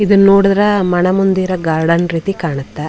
ಇದುನ್ ನೋಡಿದ್ರೆ ಮನೋಮಂದಿರ ಗಾರ್ಡನ್ ರೀತಿ ಕಾಣುತ್ತೆ.